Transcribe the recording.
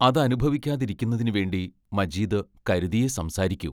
അത് അനുഭവിക്കാതിരിക്കുന്നതിനുവേണ്ടി മജീദ് കരുതിയേ സംസാരിക്കൂ.